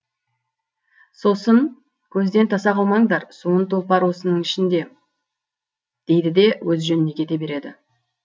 сосын көзден таса қылмаңдар суын тұлпар осының ішінде дейді де өз жөніне кете береді